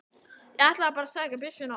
Ég ætlaði bara að sækja byssuna og.